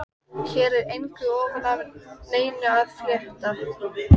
Hér er engu ofan af neinum að fletta.